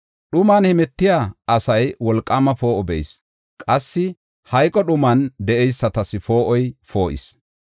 Dhuman hemetiya asay wolqaama poo7o be7is; qassi hayqo dhuman de7eysatas poo7oy poo7is.